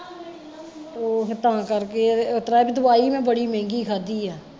ਤੇ ਓਹ ਫੇਰ ਤਾਂ ਕਰਕੇ ਇਤਰਾਂ ਵੀ ਦਵਾਈ ਮੈਂ ਬੜੀ ਮਹਿੰਗੀ ਖਾਧੀ ਆ